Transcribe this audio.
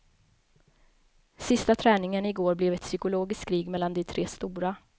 Sista träningen igår blev ett psykologiskt krig mellan de tre stora.